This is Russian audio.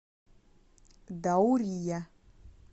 даурия